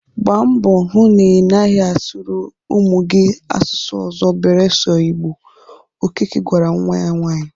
Gbaa mbọ hụ na ị naghị asụrụ ụmụ gị asusụ ọzọ beresọ Igbo! Okeke gwara nwa nwaanyị.